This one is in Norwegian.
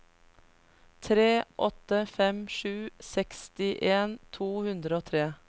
tre åtte fem sju sekstien to hundre og tre